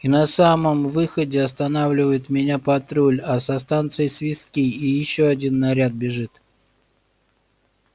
и на самом выходе останавливает меня патруль а со станции свистки и ещё один наряд бежит